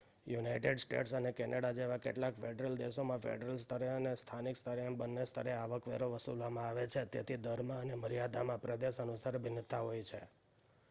United States અને Canada જેવા કેટલાક ફેડરલ દેશોમાં ફેડરલ સ્તરે અને સ્થાનિક સ્તરે એમ બન્ને સ્તરે આવકવેરો વસૂલવામાં આવે છે તેથી દરમાં અને મર્યાદામાં પ્રદેશ અનુસાર ભિન્નતા હોય છે